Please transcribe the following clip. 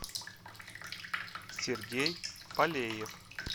сергей полеев